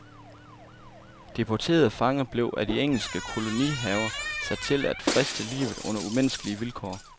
Deportedede fanger blev af de engelske koloniherrer sat til at friste livet under umenneskelige vilkår.